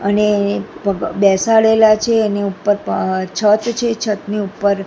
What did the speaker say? અને ભ બેસાડેલા છે એની ઉપર અ છત છે છતની ઉપર--